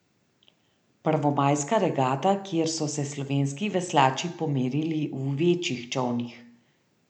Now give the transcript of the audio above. Prvomajska regata, kjer so se slovenski veslači pomerili v večjih čolnih.